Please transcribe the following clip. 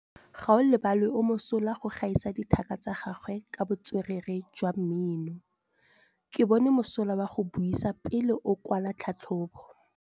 Gaolebalwe o mosola go gaisa dithaka tsa gagwe ka botswerere jwa mmino. Ke bone mosola wa go buisa pele o kwala tlhatlhobô.